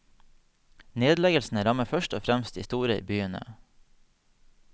Nedleggelsene rammer først og fremst de store byene.